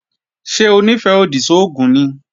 Ṣé Onífẹ́-odi sógùn ni?